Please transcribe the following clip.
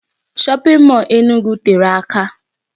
Shopping mall Enugu tere aka.